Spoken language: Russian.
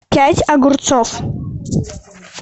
пять огурцов